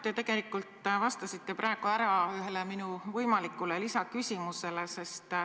Te tegelikult vastasite praegu ära ühele minu võimalikule lisaküsimusele.